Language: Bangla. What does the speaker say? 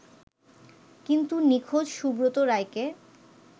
কিন্তু নিখোঁজ সুব্রত রায়কে